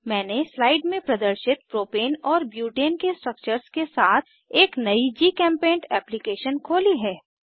मैंने स्लाइड में प्रदर्शित प्रोपेन और ब्यूटेन के स्ट्रक्चर्स के साथ एक नयी जीचेम्पेंट एप्लीकेशन खोली है